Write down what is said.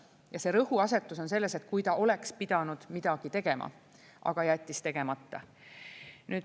Ja see rõhuasetus on sellel, et kui ta oleks pidanud midagi tegema, aga jättis tegemata.